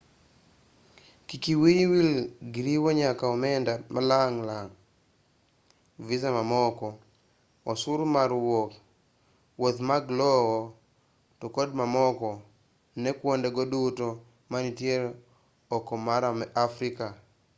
kik wiyi wil gi riwo nyaka omenda malang' mag visa mamoko osuru mar wuok wuodhi mag lowo to kod mamoko ne kuonde go duto manitiere oko mar afrika